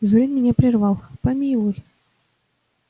зурин меня прервал помилуй